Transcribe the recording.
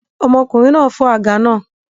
Ọmọkùnrin náà fọ́ àga náà